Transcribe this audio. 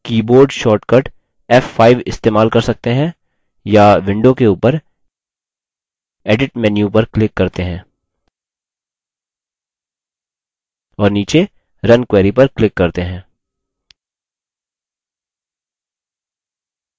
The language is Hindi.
हम keyboard shortcut f5 इस्तेमाल कर सकते हैं या window के उपर edit menu पर click करते हैं और नीचे run query पर click करते हैं